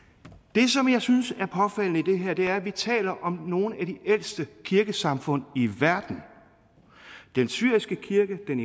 det som jeg synes er påfaldende i det her er at vi taler om nogle af de ældste kirkesamfund i verden den syriske kirke den